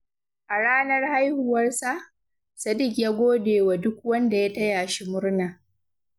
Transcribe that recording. A ranar haihuwarsa, Sadiq ya gode wa duk wanda ya taya shi murna.